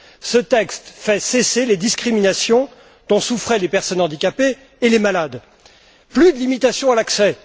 Ce texte fait cesser les discriminations dont souffraient les personnes handicapées et les malades. Plus de limitation à l'accès.